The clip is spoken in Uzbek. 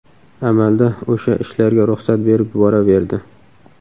Amalda o‘sha ishlarga ruxsat berib yuboraverardi.